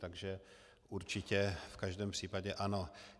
Takže určitě v každém případě ano.